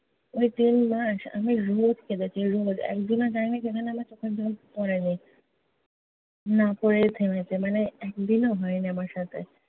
ঐ তিনমাস আমি রোজ কেঁদেছি, রোজ। একদিনও যায় নি যেখানে আমার চোখের জল পড়ে নি। না পড়ে থেমেছে মানে একদিনও হয় নি আমার সাথে।